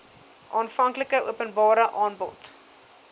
aanvanklike openbare aanbod